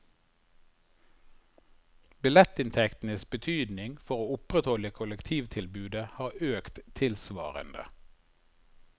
Billettinntektenes betydning for å opprettholde kollektivtilbudet har økt tilsvarende.